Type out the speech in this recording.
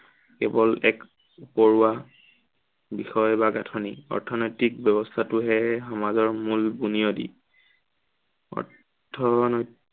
কেৱল এক, উপৰুৱা বিষয় বা গাঁঠনি। অৰ্থনৈতিক ব্য়ৱস্থাটোহে সমাজৰ মূল বুনিয়দী।